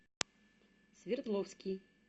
свердловский